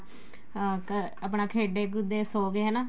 ਹਾਂ ਆਪਣਾ ਖੇਡੇ ਕੂਦੇ ਸੋ ਗਏ ਹਨਾ